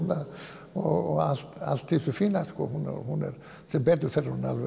og allt allt í þessu fína sem betur fer er hún algjör